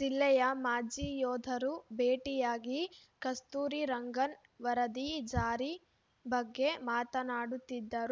ಜಿಲ್ಲೆಯ ಮಾಜಿ ಯೋಧರು ಭೇಟಿಯಾಗಿ ಕಸ್ತೂರಿ ರಂಗನ್‌ ವರದಿ ಜಾರಿ ಬಗ್ಗೆ ಮಾತನಾಡುತ್ತಿದ್ದರು